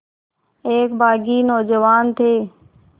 एक बाग़ी नौजवान थे